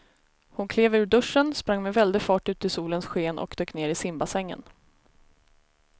Hon klev ur duschen, sprang med väldig fart ut i solens sken och dök ner i simbassängen.